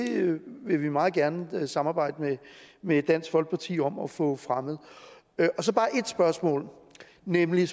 vil vi meget gerne samarbejde med dansk folkeparti om at få fremmet jeg har så bare et spørgsmål nemlig